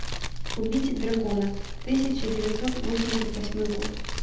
убить дракона тысяча девятьсот восемьдесят восьмой год